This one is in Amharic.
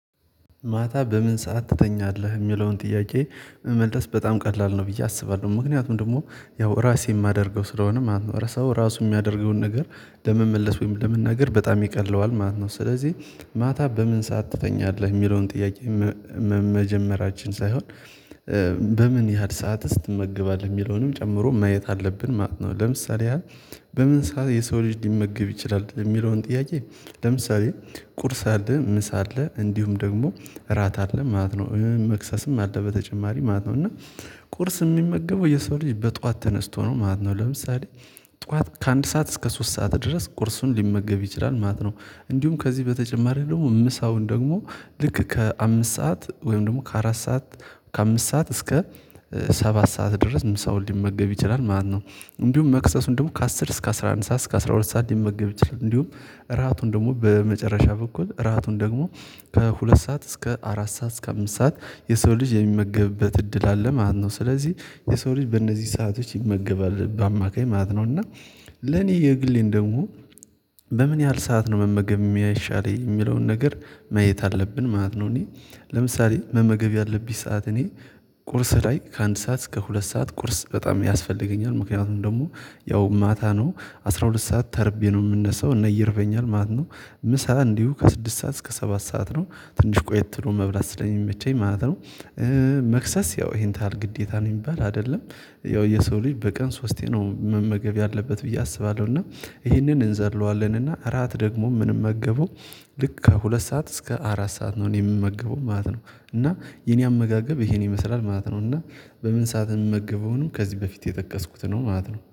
ማታ በምን ሰዓት ትተኛለህ የሚለውን ጥያቄ? መመለስ በጣም ቀላል ነው ብዬ አስባለሁ ምክንያቱም ደግሞ ያው ራሴ የማደርገው ስለሆነ ማለት ነው። ሰው ራሱ የሚያደርገውን ነገር ለመመለስ ወይም ለመናገር በጣም ይቀለዋል ማለት ነው። ስለዚህ ማታ በምን ሰዓት ትተኛለህ የሚለውን ጥያቄ መጀመራችን ሳይሆን በምን ያህል ሰአትስ ትመገባለህ የሚለውንም ጨምሮ ማየት አለብን ማለት ነው። ለምሳሌ ያሀል በምን ሰዓት የሰው ልጅ ሊመገብ ይችላል የሚለውን ጥያቄ? ለምሳሌ ቁርስ አለ ምሳ አለ እንዲሁም ደግሞ እራት አለ ማለት ነው። መክሰስም አለ በተጨማሪ ማለት ነው። እና ቁርስ የሚመገበው የሰው ልጅ በጧዋት ተነስቶ ነው ማለት ነው። ለምሳሌ ጧዋት ከአንድ ሰዓት እስከ ሶስት ሰዓት ድረስ ቁርሱን ሊመገብ ይችላል ማለት ነው። እንዲሁም ከዚህ በተጨማሪ ደግሞ ምሳውን ደግሞ ልክ ከአምስት ሰዓት ወይም ደግሞ ከአራት ሰዓት ከአምስት ሰዓት እስከ ሰባት ሰዓት ድረስ ምሳውን ሊመገብ ይችላል ማለት ነው። እንዲሁም መክሰሱን ደግሞ ከአስር እስከ አስራ አንድ ሰዓት እስከ አስራ ሁለት ሰዓት ሊመገብ ይችላል። እንዲሁም እራቱን ደግሞ በመጨረሻ በኩል እራቱን ደግሞ ከሁለት ሰዓት እስከ አራት ሰዓት እስከ አምስት ሰዓት የሰው ልጅ የሚመገብበት እድል አለ ማለት ነው። ስለዚህ የሰው ልጅ በእነዚህ ሰአቶች ይመገባል በአማካይ ማለት ነው። እና ለኔ የግሌን ደግሞ በምን ያህል ሰዓት ነው መመገብ የሚያይሻለኝ የሚለውን ነገር ማየት አለብን ማለት ነው። እኔ ለምሳሌ መመገብ ያለብኝ ሰዓት እኔ ቁርስ ላይ ከአንድ ሰዓት እስከ ሁለት ሰዓት ቁርስ በጣም ያስፈልገኛል ምክንያቱም ደግሞ ያው ማታ ነው አስራ ሁለት ሰዓት ተርቤ ነው የምነሳው እነ ይርበኛል ማለት ነው። ምሳ እንዲሁ ከስድስት ሰዓት እስከ ሰባት ሰዓት ነው ትንሽ ቆየት ብሎ መብላት ስለሚመቸኝ ማለት ነው። መክሰስ ያው ይሄን ታሀል ግዴታ ነው የሚባል አይደለም ያው የሰው ልጅ በቀን ሶስቴ ነው መመገብ ያለበት ብዬ አስባለሁ። እና ይሄንን እንዘለዋለን እና እራት ደግሞ ምንም መገበው ልክ ከሁለት ሰዓት እስከ አራት ሰዓት ነው እኔ የምመገበው ማለት ነው። እና የኔ አመጋገብ ይሄን ይመስላል ማለት ነው። እና በምን ሰዓት የምመገበውንም ከዚህ በፊት የጠቀስኩት ነው ማለት ነው